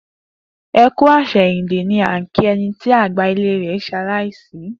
E kú àsèyìndè' ni à n kí eni tí àgbà ilé rè se aláìsí